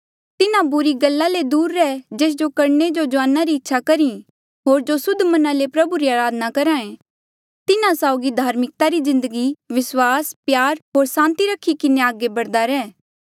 तिन्हा बुरी गल्ला ले दूर रेह जेस जो करणे जो जुआना री इच्छा करी होर जो सुद्ध मना ले प्रभु री अराधना करहा ऐें तिन्हा साउगी धार्मिकता री जिन्दगी विस्वास प्यार होर सांति रखी किन्हें अगे बढ़दे रहो